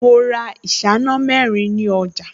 Mo ra ìṣáná mẹ́rin ní ọjà